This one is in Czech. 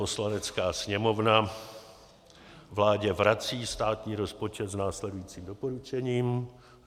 Poslanecká sněmovna vládě vrací státní rozpočet s následujícím doporučením: